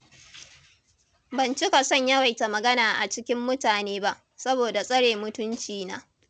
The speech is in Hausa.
Ban cika son yawaita magana a cikin mutane ba, saboda tsare mutuncina.